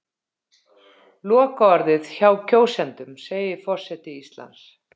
Lokaorðið hjá kjósendum segir forseti Íslands